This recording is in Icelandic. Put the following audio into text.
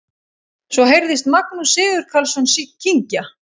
Svo heyrðist Magnús Sigurkarlsson kyngja.